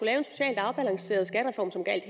lave en socialt afbalanceret skattereform som gjaldt